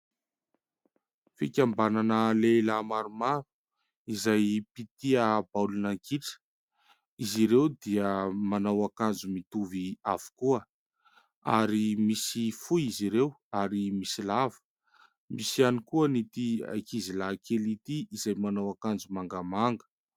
Fikambanana lehilahy maromaro izay mpitia baolina kitra. Izy ireo dia manao akanjo mitovy avokoa ary misy fohy izy ireo ary misy lava ; misy ihany koa ity ankizy lahy kely ity izay manao akanjo mangamanga.